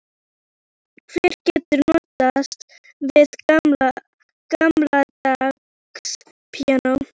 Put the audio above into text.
Hver getur notast við gamaldags píanó?